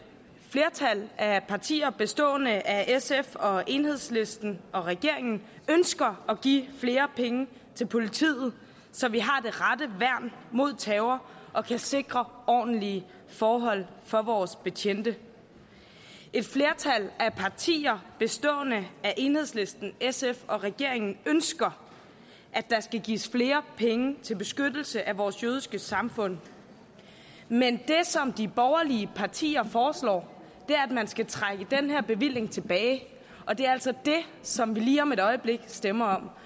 flertal af partier bestående af sf og enhedslisten og regeringen ønsker at give flere penge til politiet så vi har det rette værn mod terror og kan sikre ordentlige forhold for vores betjente et flertal af partier bestående af enhedslisten sf og regeringen ønsker at der skal gives flere penge til beskyttelse af vores jødiske samfund men det som de borgerlige partier foreslår er at man skal trække den her bevilling tilbage og det er altså det som vi lige om et øjeblik stemmer om